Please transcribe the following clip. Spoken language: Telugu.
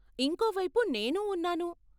ఇంకో వైపు, నేనూ ఉన్నాను.